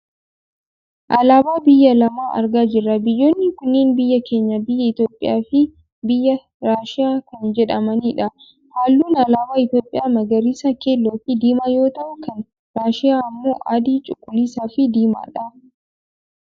Alaabaa biyya lama argaa jirra biyyoonni kunneen biyya keenya biyya Itoopiyaa fi biyya Raashiyaa kan jedhamanidha. Halluun alaabaa Itoopiyaa magariisa ,keelloofi diimaa yoo ta'u, kan Raashiyaa ammoo adii, cuquliisaafi diimaadha.